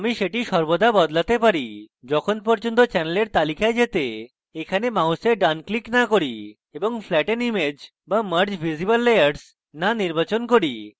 আমি সেটি সর্বদা বদলাতে পারি যখন পর্যন্ত channel তালিকায় যেতে এখানে mouse ডান click না করি এবং flatten image বা merge visible layers না নির্বাচন করি